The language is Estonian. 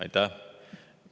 Aitäh!